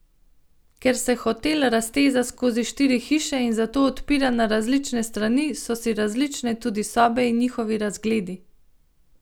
Ker se hotel razteza skozi štiri hiše in zato odpira na različne strani, so si različne tudi sobe in njihovi razgledi.